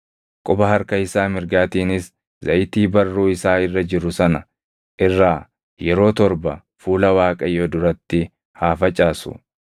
quba harka isaa mirgaatiinis zayitii barruu isaa irra jiru sana irraa yeroo torba fuula Waaqayyoo duratti haa facaasu.